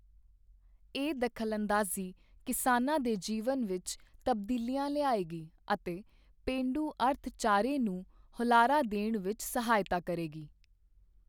ਇਹ ਦਖਲਅੰਦਾਜ਼ੀ ਕਿਸਾਨਾਂ ਦੇ ਜੀਵਨ ਵਿੱਚ ਤਬਦੀਲੀਆਂ ਲਿਆਏਗੀ ਅਤੇ ਪੇਂਡੂ ਅਰਥਚਾਰੇ ਨੂੰ ਹੁਲਾਰਾ ਦੇਣ ਵਿੱਚ ਸਹਾਇਤਾ ਕਰੇਗੀ।